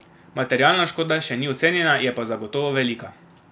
Materialna škoda še ni ocenjena, je pa zagotovo velika.